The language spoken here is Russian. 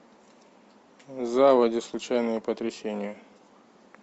заводи случайные потрясения